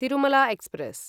Tirumala express